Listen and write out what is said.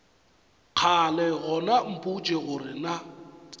kgale gona mpotše gore na